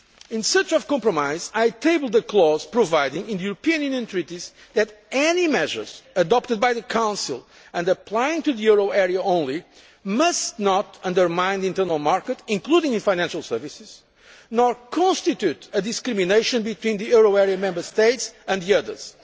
In search of compromise, I tabled a clause providing, in the European Union treaties, that any measures adopted by the Council and applying to the euro area only must not undermine the internal market, including in financial services, nor constitute discrimination between the euro area Member States and the